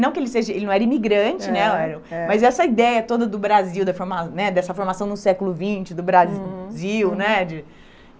Não que ele seja ele não era imigrante né, mas essa ideia toda do Brasil, da né dessa formação no século vinte do Brasil né.